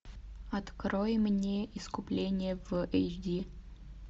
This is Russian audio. открой мне искупление в эйч ди